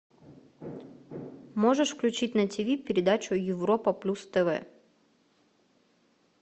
можешь включить на ти ви передачу европа плюс тв